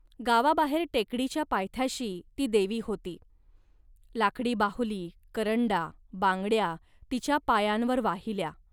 गावाबाहेर टेकडीच्या पायथ्याशी ती देवी होती. लाकडी बाहुली, करंडा, बांगड्या तिच्या पायांवर वाहिल्या